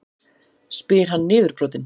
spyr hann niðurbrotinn.